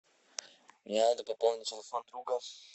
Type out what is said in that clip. мне надо пополнить телефон друга